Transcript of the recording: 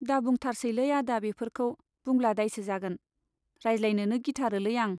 दाबुंथारसैलै आदा बेफोरखौ, बुंब्ला दायसो जागोन, रायज्लाय नोनो गिखाथारोलै आं।